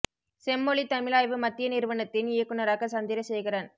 செம்மொழி தமிழாய்வு மத்திய நிறுவனத்தின் இயக்குனராக சந்திரசேகரன்